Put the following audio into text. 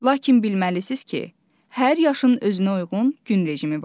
Lakin bilməlisiniz ki, hər yaşın özünə uyğun gün rejimi var.